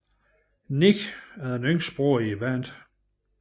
Nick er den yngste bror i bandet